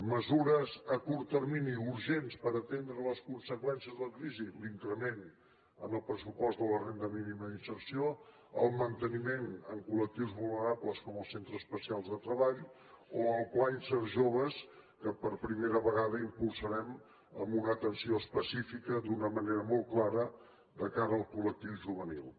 mesures a curt termini urgents per atendre les conseqüències de la crisi l’increment en el pressupost de la renda mínima d’inserció el manteniment en collectius vulnerables com els centres especials de treball o el pla insert jove que per primera vegada impulsarem amb una atenció específica d’una manera molt clara de cara al col·lectiu juvenil